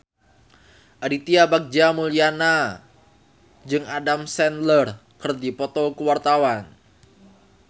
Aditya Bagja Mulyana jeung Adam Sandler keur dipoto ku wartawan